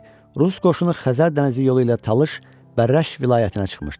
Rus qoşunu Xəzər dənizi yolu ilə Talış, Bərrəş vilayətinə çıxmışdı.